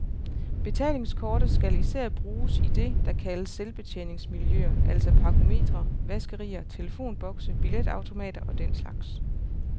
Betalingskortet skal især bruges i det, der kaldes selvbetjeningsmiljøer, altså parkometre, vaskerier, telefonbokse, billetautomater og den slags.